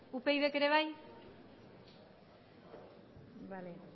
upydk ere bai bale